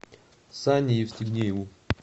сане евстигнееву